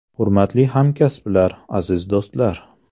Hurmatli hamkasblar, aziz do‘stlar!